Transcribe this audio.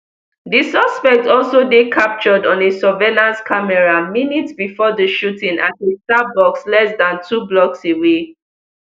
di suspect also dey captured on a surveillance camera minutes bifor di shooting at a starbucks less dan two blocks away